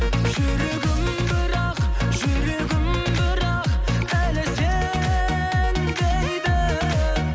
жүрегім бірақ жүрегім бірақ әлі сен дейді